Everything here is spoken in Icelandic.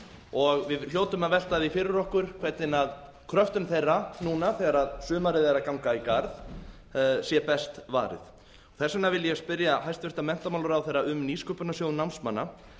og við hljótum að velta því fyrir okkur hvernig kröftum þeirra núna þegar sumarið er að ganga í garð sé best varið þess vegna vil ég spyrja hæstvirtan menntamálaráðherra um nýsköpunarsjóð námsmanna